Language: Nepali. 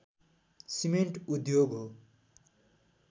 सिमेन्ट उद्योग हो